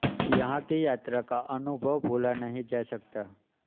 यहां की यात्रा का अनुभव भूला नहीं जा सकता